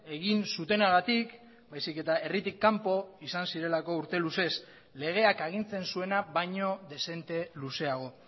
egin zutenagatik baizik eta herritik kanpo izan zirelako urte luzez legeak agintzen zuena baino dezente luzeago